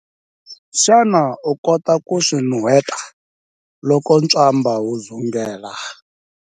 Xana u kota ku swi nuheta loko ntswamba wu dzungela?